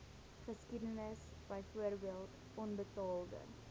geskiedenis byvoorbeeld onbetaalde